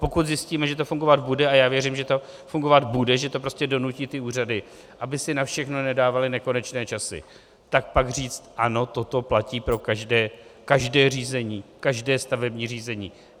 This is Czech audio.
Pokud zjistíme, že to fungovat bude, a já věřím, že to fungovat bude, že to prostě donutí ty úřady, aby si na všechno nedávaly nekonečné časy, tak pak říct: ano, toto platí pro každé řízení, každé stavební řízení.